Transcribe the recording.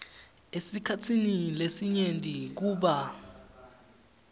esikhatsini lesinyenti kuba